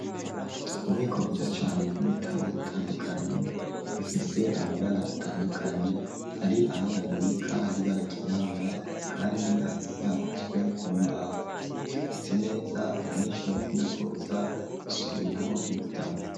Ububiko, bwiza cane, bw'ibitabo bitandukanye, bifise amabara atandukanye; hari aho babibika, hari ibara ryirabura, kandi hasi, hakozwe ku mbaho; ryubatse neza, abanyeshure, bakunda kuza, gusomeraho ibitabo.